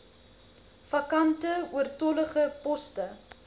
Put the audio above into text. vakante oortollige poste